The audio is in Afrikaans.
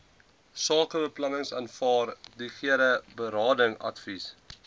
sakebeplanningsvaardighede berading advies